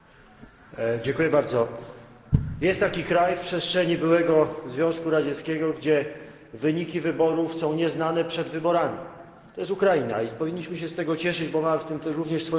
Pani przewodnicząca! Jest taki kraj w przestrzeni byłego Związku Radzieckiego, gdzie wyniki wyborów są nieznane przed wyborami. To jest Ukraina i powinniśmy się z tego cieszyć, bo mamy w tym też swoją zasługę.